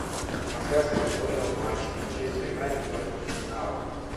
трансляция футбольного матча манчестер юнайтед против арсенала